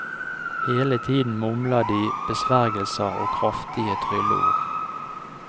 Hele tiden mumler de besvergelser og kraftige trylleord.